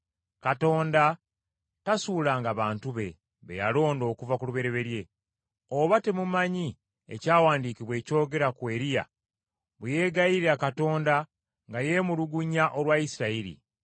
Katonda tasuulanga bantu be, be yalonda okuva ku lubereberye. Oba temumanyi ekyawandiikibwa ekyogera ku Eriya bwe yeegayirira Katonda nga yeemulugunya olwa Isirayiri?